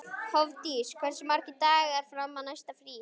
Hofdís, hversu margir dagar fram að næsta fríi?